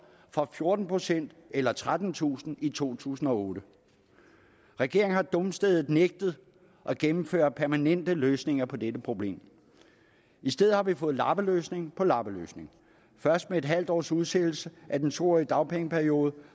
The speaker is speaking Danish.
fra fjorten procent eller trettentusind i to tusind og otte regeringen har dumstædigt nægtet at gennemføre permanente løsninger på dette problem i stedet har vi fået lappeløsning på lappeløsning først med en halv års udsættelse af den to årige dagpengeperiode